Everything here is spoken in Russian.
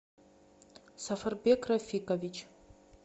сафарбек рафикович